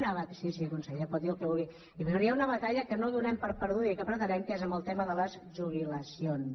sí sí conseller pot dir el que vulgui hi haurà una batalla que no donem per perduda i que pretenem que és amb el tema de les jubilacions